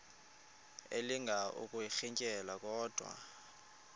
elinga ukuyirintyela kodwa